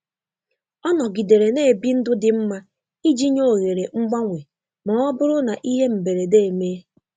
Ọ nọgidere na-ebi ndụ dị mma iji nye ohere mgbanwe ma ọ bụrụ na ihe mberede emee.